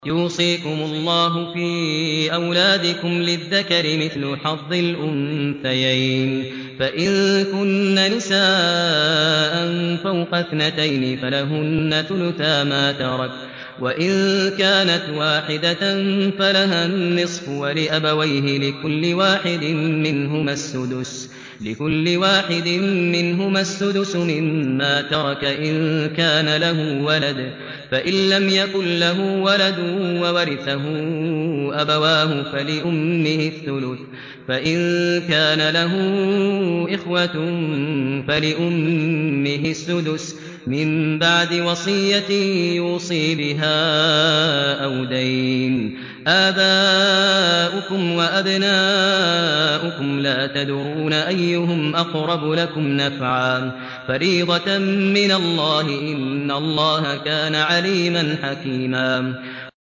يُوصِيكُمُ اللَّهُ فِي أَوْلَادِكُمْ ۖ لِلذَّكَرِ مِثْلُ حَظِّ الْأُنثَيَيْنِ ۚ فَإِن كُنَّ نِسَاءً فَوْقَ اثْنَتَيْنِ فَلَهُنَّ ثُلُثَا مَا تَرَكَ ۖ وَإِن كَانَتْ وَاحِدَةً فَلَهَا النِّصْفُ ۚ وَلِأَبَوَيْهِ لِكُلِّ وَاحِدٍ مِّنْهُمَا السُّدُسُ مِمَّا تَرَكَ إِن كَانَ لَهُ وَلَدٌ ۚ فَإِن لَّمْ يَكُن لَّهُ وَلَدٌ وَوَرِثَهُ أَبَوَاهُ فَلِأُمِّهِ الثُّلُثُ ۚ فَإِن كَانَ لَهُ إِخْوَةٌ فَلِأُمِّهِ السُّدُسُ ۚ مِن بَعْدِ وَصِيَّةٍ يُوصِي بِهَا أَوْ دَيْنٍ ۗ آبَاؤُكُمْ وَأَبْنَاؤُكُمْ لَا تَدْرُونَ أَيُّهُمْ أَقْرَبُ لَكُمْ نَفْعًا ۚ فَرِيضَةً مِّنَ اللَّهِ ۗ إِنَّ اللَّهَ كَانَ عَلِيمًا حَكِيمًا